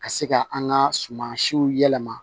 Ka se ka an ka sumansiw yɛlɛma